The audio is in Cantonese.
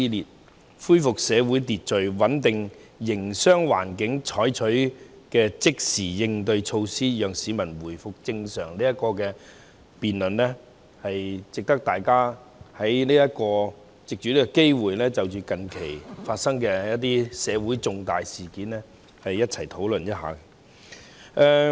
政府對盡快恢復社會秩序、穩定營商環境採取的即時應對措施，讓市民回復正常生活"，值得大家藉此機會就近期社會發生的重大事件進行討論。